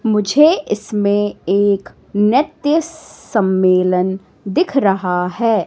मुझे इसमें एक नृत्य सम्मेलन दिख रहा है।